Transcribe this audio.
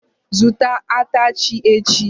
Zụta atachị echi!